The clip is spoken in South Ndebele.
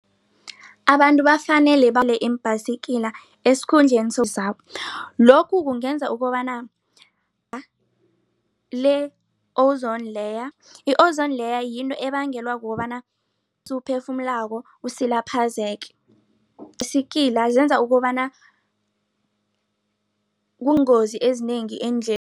Abantu bafanele bale iimbhayisikila esikhundleni lokhu kungenza ukobana le-ozone layer. I-ozone layer yinto ebangelwa kukobana esiwuphefumulako usilaphezeke ibhayisikilia senza ukobana kungozi ezinengi